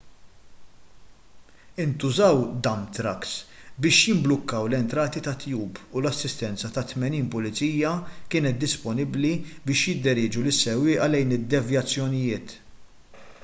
intużaw dump trucks biex jimblukkaw l-entrati tat-tube u l-assistenza ta' 80 pulizija kienet disponibbli biex jidderieġu lis-sewwieqa lejn id-devjazzjonijiet